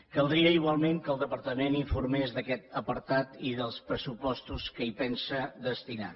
caldria igualment que el departament informés d’aquest apartat i dels pressupostos que hi pensa destinar